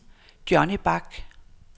Johnny Bak